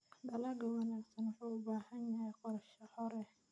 Dalagga wanaagsan wuxuu u baahan yahay qorshe hore.